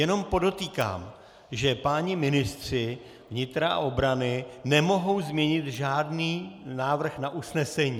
Jenom podotýkám, že páni ministři vnitra a obrany nemohou změnit žádný návrh na usnesení.